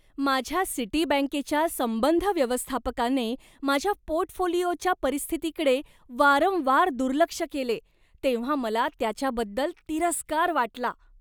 माझ्या सिटीबँकेच्या संबंध व्यवस्थापकाने माझ्या पोर्टफोलिओच्या परिस्थितीकडे वारंवार दुर्लक्ष केले तेव्हा मला त्याच्याबद्दल तिरस्कार वाटला.